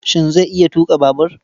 Shin zai iya tuƙa babur?